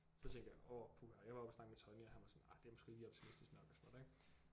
Så tænkte jeg åh puha jeg var oppe at snakke med Tonny og han var sådan ah det er måske lige optimistisk nok og sådan noget ik